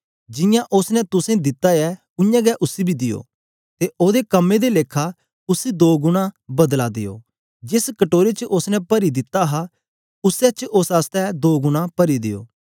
जियां उस्स ने तुसें दिता ऐ उय्यां गै उसी बी देओ ते ओदे कम्में ए लेखा उसी दो गुणा बदला देओ जेस कटोरे च उस्स ने परी दिता हा उसी च उस्स आसतै दो गुणा परी देओ